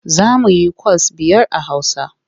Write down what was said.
Za mu yikwas biyar a Hausa.